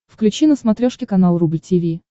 включи на смотрешке канал рубль ти ви